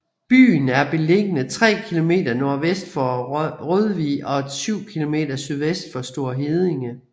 Byen er beliggende 3 km nordvest for Rødvig og 7 km sydvest for Store Heddinge